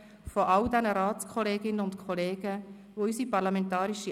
Sie waren neu im Parlament.